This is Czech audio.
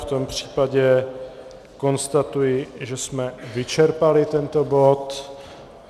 V tom případě konstatuji, že jsme vyčerpali tento bod.